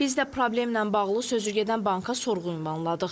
Biz də problemlə bağlı sözügedən banka sorğu ünvanladıq.